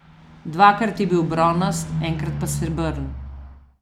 Dvakrat je bil bronast, enkrat pa srebrn.